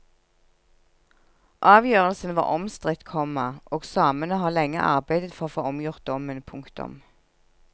Avgjørelsen var omstridt, komma og samene har lenge arbeidet for å få omgjort dommen. punktum